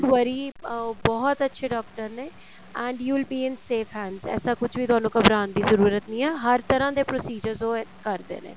worry ਅਹ ਬਹੁਤ ਅੱਛੇ ਡਾਕਟਰ ਨੇ and you will be in safe hands ਐਸਾ ਕੁੱਝ ਵੀ ਤੁਹਾਨੂੰ ਘਬਰਾਣ ਦੀ ਜ਼ਰੂਰਤ ਨਹੀਂ ਹੈ ਹਰ ਤਰ੍ਹਾਂ ਦੇ procedures ਉਹ ਕਰਦੇ ਨੇ